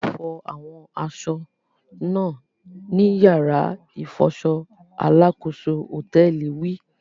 A o fọ awọn aṣọ náà nì yàrá ifọṣọ! Alakoso hotẹẹli wí